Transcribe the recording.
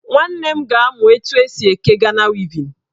Nwanne m na-amụ etu esi akpa Gana wevin